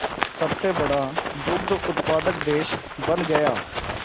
सबसे बड़ा दुग्ध उत्पादक देश बन गया